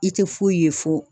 I tɛ foyi ye fɔ